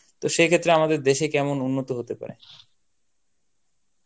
তো সেক্ষেত্রে আমাদের দেশে কেমন উন্নত হতে পারে?